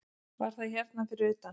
Var það hérna fyrir utan?